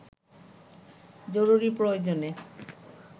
জরুরি প্রয়োজনে